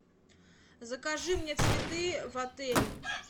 закажи мне цветы в отель